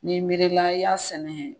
N'i miirila i y'a sɛnɛ.